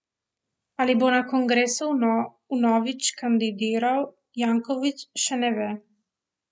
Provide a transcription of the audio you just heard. Ali bo na kongresu vnovič kandidiral, Janković še ne ve.